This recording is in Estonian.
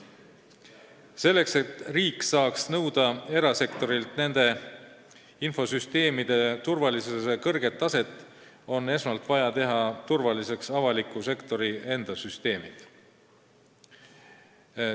Selleks, et riik saaks nõuda erasektorilt nende infosüsteemide turvalisuse kõrget taset, on esmalt vaja teha turvaliseks avaliku sektori enda süsteemid.